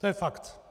To je fakt.